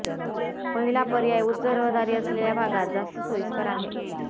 पहिला पर्याय उच्च रहदारी असलेल्या भागात जास्त सोईस्कर आहे